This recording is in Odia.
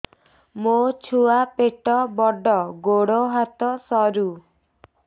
ମୋ ଛୁଆ ପେଟ ବଡ଼ ଗୋଡ଼ ହାତ ସରୁ